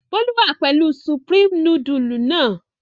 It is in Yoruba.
Bólú wà pẹ̀lú Supreme nudule náà.